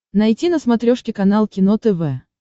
найти на смотрешке канал кино тв